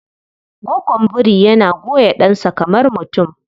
Gwaggon biri yana goya ɗansa kamar mutum.